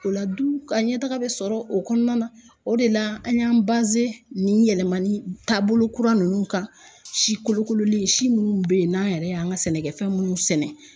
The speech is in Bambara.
O la du ka ɲɛtaga bɛ sɔrɔ o kɔnɔna na o de la an y'an nin yɛlɛmani taabolo kura ninnu kan si kolokololen si minnu bɛ yen n'an yɛrɛ y'an ka sɛnɛkɛfɛn minnu sɛnɛ